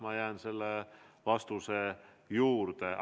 Ma jään selle vastuse juurde.